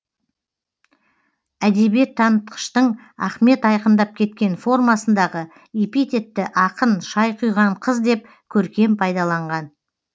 әдебиеттанытқыштың ахмет айқындап кеткен формасындағы эпитетті ақын шай құйған қыз деп көркем пайдаланған